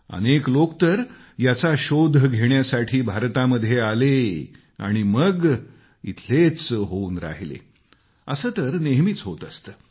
अनेक लोक तर याचा शोध घेण्यासाठी भारतामध्ये आले आणि मग ते इथंच कायम राहिले आहेत असं तर नेहमीच होत असतं